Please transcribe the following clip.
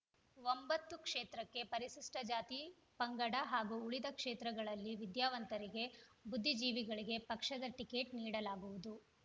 ಒಂಬತ್ತು ಕ್ಷೇತ್ರಕ್ಕೆ ಪರಿಶಿಷ್ಟಜಾತಿಪಂಗಡ ಹಾಗೂ ಉಳಿದ ಕ್ಷೇತ್ರಗಳಲ್ಲಿ ವಿದ್ಯಾವಂತರಿಗೆ ಬುದ್ಧಿಜೀವಿಗಳಿಗೆ ಪಕ್ಷದ ಟಿಕೆಟ್‌ ನೀಡಲಾಗುವುದು